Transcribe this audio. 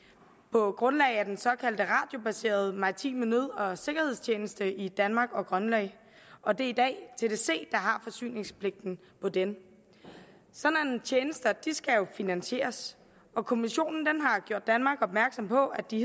på grundlag af den såkaldte radiobaserede maritime nød og sikkerhedstjeneste i danmark og grønland og det er i dag tdc der har forsyningspligten på den sådanne tjenester skal jo finansieres og kommissionen har gjort danmark opmærksom på at de